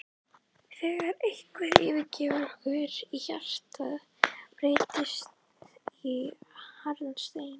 þegar einhver yfirgefur okkur og hjartað breytist í harðan stein.